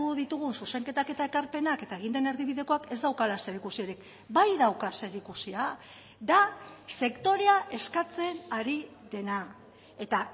ditugun zuzenketak eta ekarpenak eta egin den erdibidekoak ez daukala zerikusirik bai dauka zerikusia da sektorea eskatzen ari dena eta